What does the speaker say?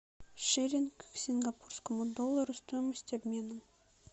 шиллинг к сингапурскому доллару стоимость обмена